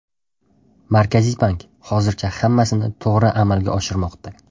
Markaziy bank hozircha hammasini to‘g‘ri amalga oshirmoqda.